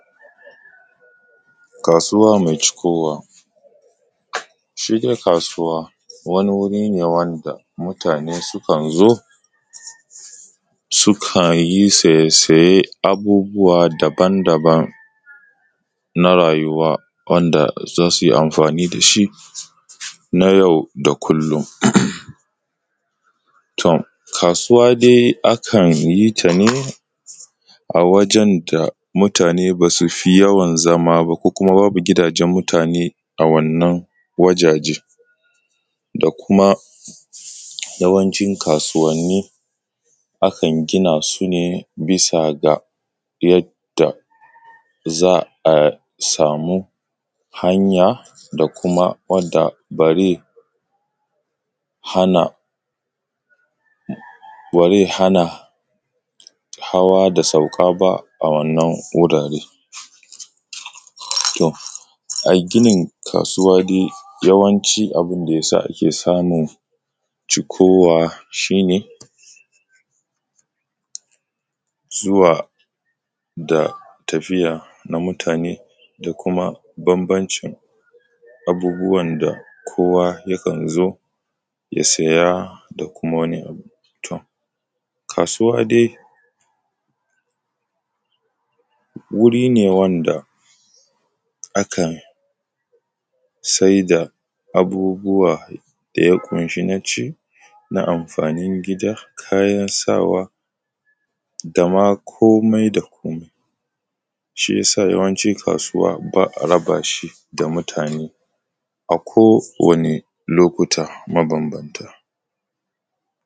Kasuwa mai cikowa, shi dai kasuwa wani wuri ne wanda mutane sukan zo su yi siye-siye na abubuwa daban-daban na rayuwa wanda za su yi amfani da shi na yau da kullun. To, kasuwa dai akan yi ta ne a wajen da mutane ba su fi yawan zama ba kuma babu gidajen mutane a wannan wajaje da kuma yawancin kasuwanni akan gina su ne bisa ga yadda za a samu hanya kuma ba zai hana hawa da sauka ba a wannan gari. To, ginin kasuwa dai yawanci abun da ya sa ake samun cikowa shi ne zuwa da tafiya na mutane da kuma bambancin abubuwan da kowa yakan zo domin ya saya, kasuwa dai wuri ne wanda ake saida abubuwa da ya ƙunshi abinci, kayan sawa da ma komai da komai, shi ya sa yawanci kasuwa ba a raba shi da mutane a kowane lokuta mabanbanta.